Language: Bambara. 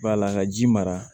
B'a la ka ji mara